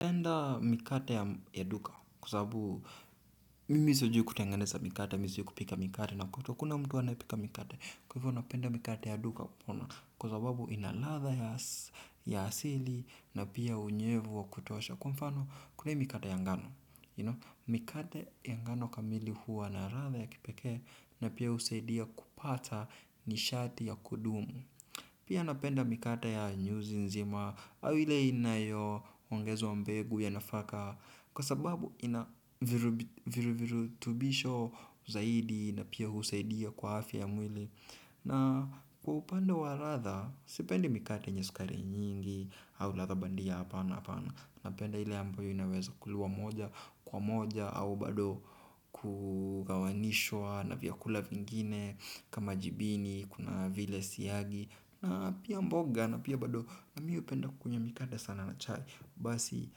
Napenda mikate ya duka kwa sababu mimi sijui kutenganeza mikate, mimi sijui kupika mikate na kwetu hakuna mtu anayepika mikate. Kwa hivyo napenda mikate ya duka kwa sababu inaradha ya asili na pia unyevu wa kutosha. Kwa mfano kule mikate ya ngano, mikate ya ngano kamili huwa na radha ya kipekee na pia husaidia kupata nishati ya kudumu. Pia napenda mikate ya nyuzi nzima au ile inayoongezwa mbegu ya nafaka kwa sababu ina virutubisho zaidi na pia husaidia kwa afya ya mwili. Na kwa upande wa radha, sipendi mikate yenye sukari nyingi au radha bandia hapana hapana. Napenda ile ambayo inaweza kuliwa moja kwa moja au bado kugawanishwa na vyakula vingine kama jibini, kuna vile siagi na pia mboga na pia bado nami hupenda kukunywa mikate sana na chai. Basi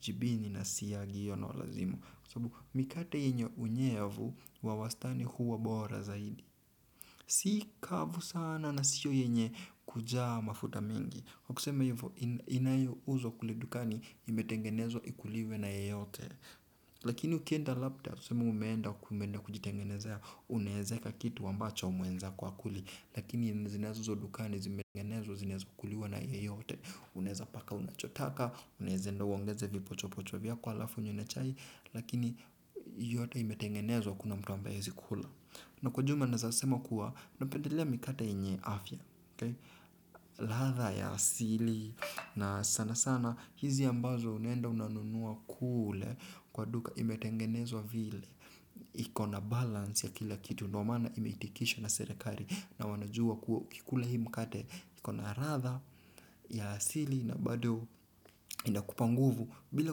jibini na siagi hiyo ndo lazima. Mikate yenye unyevu, wa wastani huwa bora zaidi. Sikavu sana na sio yenye kujaa mafuta mingi. Wakusema hivyo inayo uzwa kule dukani imetengenezwa ikuliwe na yeyote. Lakini ukienda labda tuseme umeenda kujitengenezea. Unaezeka kitu amabacho mwenzako hakuli. Lakini zinazouzwa dukani zinaeza kuliwa na yeyote. Unaezapaka unachotaka unaeza uongeze vipocho pocho vyako halafu unywe na chai. Lakini yote imetengenezwa kuna mtu ambaye hawezi kula. Na kwa ujumla naezasema kuwa napendelea mikate yenye afya radha ya asili na sana sana hizi ambazo unaenda unanunua kule kwa duka imetengenezwa vile. Iko na balance ya kila kitu no mana imeitikisha na serekali na wanajua kuwa ukikula hii mkate. Iko na radha ya asili na bado inakupa nguvu bila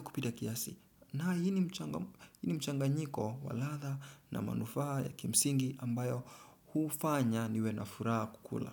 kupita kiasi. Na hii mchanganyiko wa radha na manufaa ya kimsingi ambayo hufanya niwe na furaha kukula.